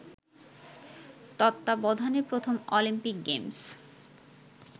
তত্বাবধানে প্রথম Olympic games